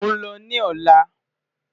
Mo n lọ ni ọla.